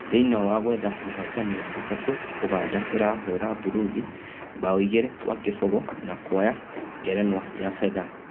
Thĩiniĩ wa gwetha mũhotani wa gatatũ Ũganda ĩrahũra Burundi 2-0 na kuoya ngerenwa ya fedha.